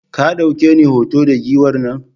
Ka ɗauke ni hoto da Giwar nan?